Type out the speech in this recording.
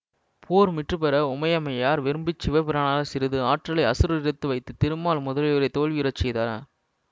போர் முற்றுப்பெற உமையம்மையார் விரும்பச் சிவபிரான சிறிது ஆற்றலை அசுரரிடத்து வைத்து திருமால் முதலியோரைத் தோல்வியுற செய்தனர்